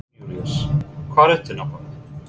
Jón Júlíus, hvar ertu nákvæmlega?